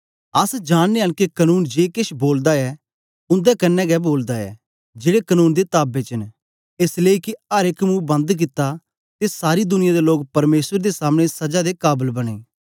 अस जाननेयां न के कनून जे केछ बोलदा ऐ उन्दे क्न्ने गै बोलदा ऐ जेड़े कनून दे ताबे च न एस लेई के अर एक मुंह बंद कित्ता ते सारी दुनिया दे लोक परमेसर दे समने सजा दे काबल बनें